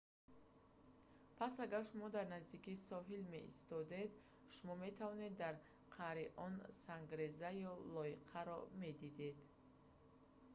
пас агар шумо дар наздикии соҳил меистодед шумо метавонед дар қаъри он сангреза ё лойқаро медидед